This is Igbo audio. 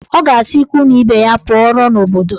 Ọ ga-asị ikwu na ibe ya pụọrọ n'obodo